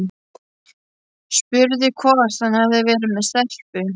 Spurði hvort hann hefði verið með stelpu.